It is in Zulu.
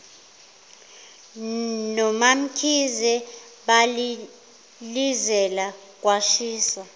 nomamkhize balilizela kwashisa